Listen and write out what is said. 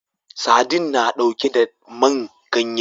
Sadin na ɗauke da man ganye